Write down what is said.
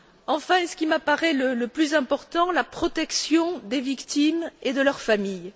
Enfin, et c'est ce qui m'apparaît le plus important la protection des victimes et de leurs familles.